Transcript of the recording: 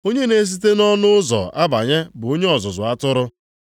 Onye na-esite nʼọnụ ụzọ abanye bụ onye ọzụzụ atụrụ.